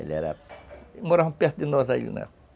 Ele era... Moravam perto de nós aí, né?